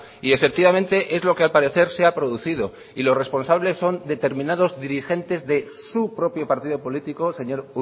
y efectivamente es lo que al parecer se ha producido y los responsables son determinados dirigentes de su propio partido político señor